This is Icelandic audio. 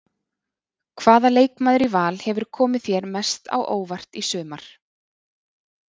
Hvaða leikmaður í Val hefur komið þér mest á óvart í sumar?